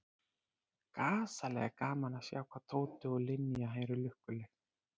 Gasalega er gaman að sjá hvað Tóti og Linja eru lukkuleg.